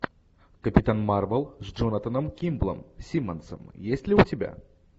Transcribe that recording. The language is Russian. капитан марвел с джонатаном кимблом симмонсом есть ли у тебя